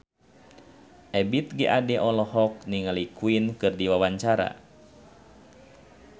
Ebith G. Ade olohok ningali Queen keur diwawancara